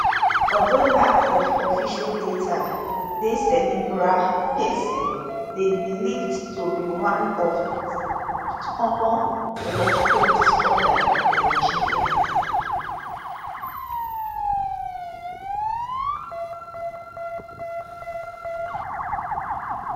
although lack of official data dey cerebral palsy dey believed to be one of di most common neurological disorders in nigeria